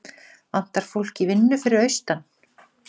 Vantar fólk í vinnu fyrir austan